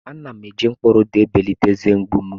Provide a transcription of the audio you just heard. Ana m eji mkpụrụ ụda ebelata eze mgbu m.